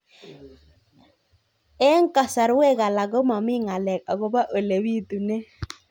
Eng' kasarwek alak ko mami ng'alek akopo ole pitunee